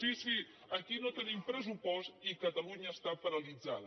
sí sí aquí no tenim pressupost i catalunya està paralitzada